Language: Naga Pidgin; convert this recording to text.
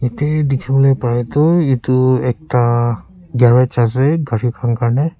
yate dikhibole para tu etu ekta garage ase gari khan karne.